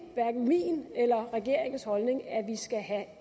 hverken min eller regeringens holdning at vi skal have